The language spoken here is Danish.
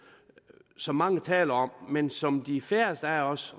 som mange taler om men som de færreste af os